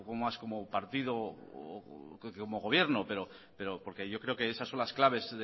más como partido o como gobierno porque yo creo que esas son las claves